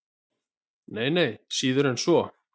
Nei, nei, síður en svo.